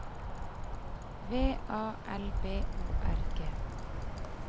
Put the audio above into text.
V A L B O R G